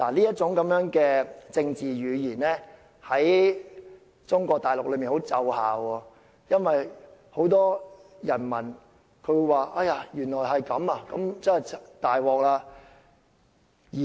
這種政治語言在中國大陸很奏效，令很多人民覺得原來情況如此，真的很糟糕。